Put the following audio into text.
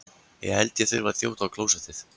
Ég held ég þurfi að þjóta á klósettið.